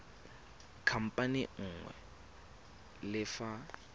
khamphane e nngwe le fa